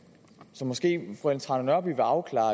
så måske fru ellen trane nørby vil afklare